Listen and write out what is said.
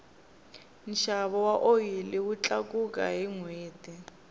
nxavo wa oyili wu tlakuka hi nhweti